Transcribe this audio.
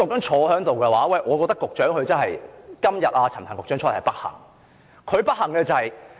我認為局長真的是......今天陳帆局長在此，是不幸的。